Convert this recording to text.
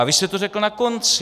A vy jste to řekl na konci.